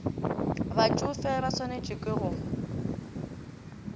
batšofe ba swantšwe ke go